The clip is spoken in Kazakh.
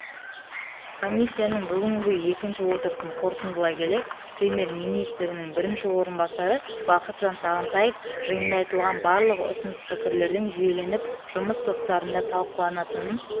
комиссияның бүгінгі екінші отырысын қорытындылай келе премьер-министрінің бірінші орынбасары бақытжан сағынтаев жиында айтылған барлық ұсыныс-пікірлердің жүйеленіп жұмыс топтарында талқыланатынын